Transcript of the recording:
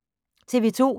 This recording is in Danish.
TV 2